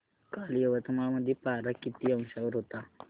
काल यवतमाळ मध्ये पारा किती अंशावर होता